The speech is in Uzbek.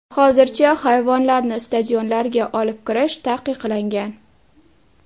Hozircha hayvonlarni stadionlarga olib kirish taqiqlangan.